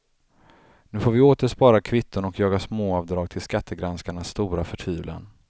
Nu får vi åter spara kvitton och jaga småavdrag till skattegranskarnas stora förtvivlan.